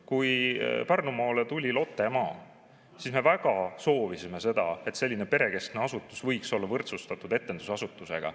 Kui Pärnumaale tuli Lottemaa, siis me väga soovisime, et selline perekeskne asutus oleks võrdsustatud etendusasutustega.